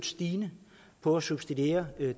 stigende på at substituere